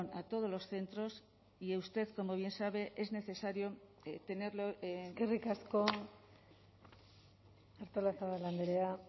a todos los centros y usted como bien sabe es necesario tenerlo eskerrik asko artolazabal andrea